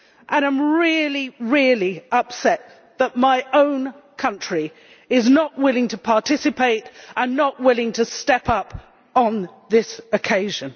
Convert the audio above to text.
I am really, really upset that my own country is not willing to participate and not willing to step up on this occasion.